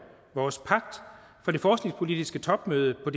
vores pagt fra det forskningspolitiske topmøde på